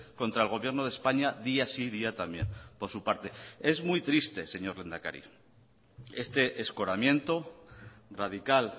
contra el gobierno de españa día sí y día también por su parte es muy triste señor lehendakari este escoramiento radical